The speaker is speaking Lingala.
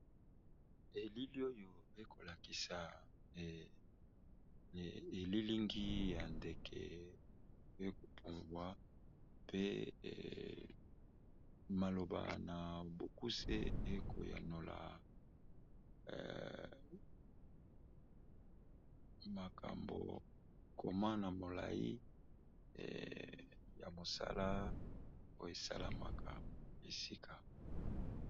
elili oyo ekolakisa elilingi ya ndeke ekobumbwa pe maloba na bokuse ekoyanola makambo koma na molai ya mosala oesalamaka esika